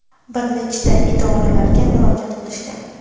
bir nechta idoralarga murojaat qilishgan.